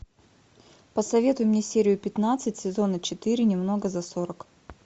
посоветуй мне серию пятнадцать сезона четыре немного за сорок